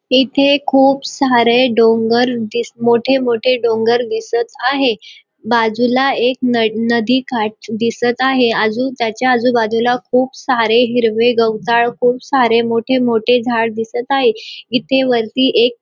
इथे खूप सारे डोंगर दिस मोठे मोठे डोंगर दिसत आहे बाजूला एक नद नदीकाठ दिसत आहे अजून त्याच्या आजूबाजूला खूप सारे हिरवे गवताळ खूप सारे मोठे मोठे झाड दिसत आहे इथे वरती एक --